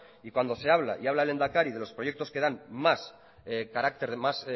y cuando se habla y habla el lehendakari de los proyectos que dan más